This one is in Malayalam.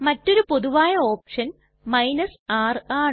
മറ്റൊരു പൊതുവായ ഓപ്ഷൻ r ആണ്